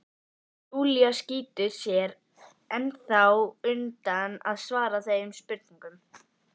Júlía skýtur sér ennþá undan að svara þeim spurningum.